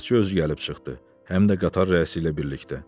Bələdçi özü gəlib çıxdı, həm də qatar rəisi ilə birlikdə.